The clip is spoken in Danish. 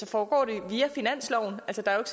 foregår det via finansloven altså der er